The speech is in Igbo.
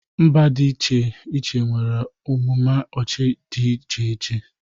Mba dị iche nwere amụma ọchị dị iche iche.